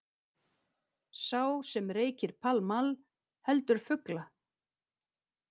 Sá sem reykir Pall Mall heldur fugla.